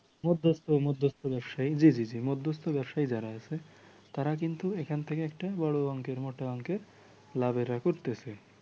জি জি জি মধ্যস্থ ব্যবসায়ী যারা আছে কিন্তু এখান থেকে একটা বড় অংকের মোটা অংকের লাভ এরা করতেছে।